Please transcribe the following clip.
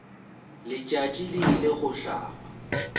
letšatši le ile go hlaba